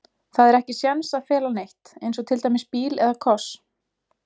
Það er ekki séns að fela neitt, eins og til dæmis bíl eða koss.